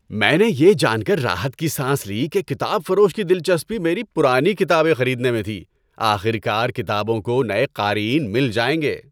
میں نے یہ جان کر راحت کی سانس لی کہ کتاب فروش کی دلچسپی میری پرانی کتابیں خریدنے میں تھی۔ آخرکار کتابوں کو نئے قارئین مل جائیں گے۔